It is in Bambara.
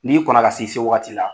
N'i kɔnɔ ka se i se waati la